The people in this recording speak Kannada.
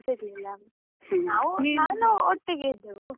ಮಾತಾಡ್ಲಿಕ್ಕೂ ಸಿಗ್ಲಿಲ್ಲ. ನಾವು ನಾನು ಒಟ್ಟಿಗೆ ಇದ್ದೆವು.